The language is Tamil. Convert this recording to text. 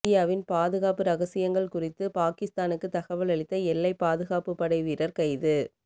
இந்தியாவின் பாதுகாப்பு ரகசியங்கள் குறித்து பாகிஸ்தானுக்கு தகவல் அளித்த எல்லை பாதுகாப்பு படை வீரர் கைது